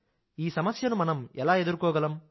ఈ సమస్యను మనం ఎలా ఎదుర్కోగలం